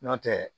N'o tɛ